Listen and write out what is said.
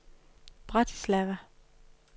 Bratislava